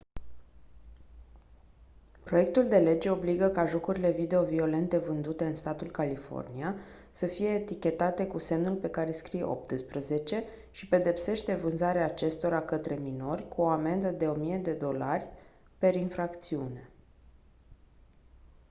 proiectul de lege obligă ca jocurile video violente vândute în statul california să fie etichetate cu semnul pe care scrie «18» și pedepsește vânzarea acestora către minori cu o amendă de 1000 usd per infracțiune.